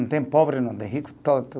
Não tem pobre, não tem rico.